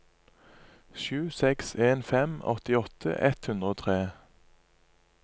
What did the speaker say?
sju seks en fem åttiåtte ett hundre og tre